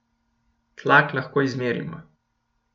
Tlak lahko izmerimo.